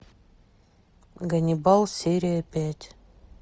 ганнибал серия пять